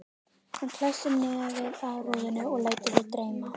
Hann klessir nefið að rúðunni og lætur sig dreyma.